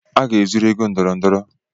A ga-ezuru ego ndọrọndọrọ